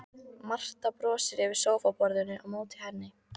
Marta brosir yfir sófaborðinu á móti henni.